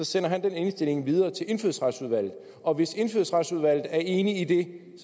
sender han den indstilling videre til indfødsretsudvalget og hvis indfødsretsudvalget er enig i det